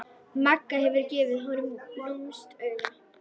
Magga gefur honum lúmskt auga.